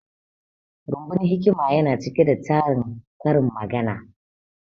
Rumbun hikima yana cike da tarin karin magana